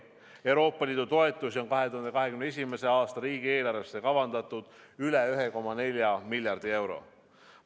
Euroopa Liidu toetusi on 2021. aasta riigieelarvesse kavandatud üle 1,4 miljardi euro.